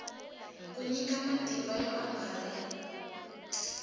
ku nyika matimba yo angarhela